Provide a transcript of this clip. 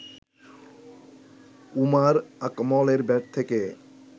উমর আকমলের ব্যাট থেকে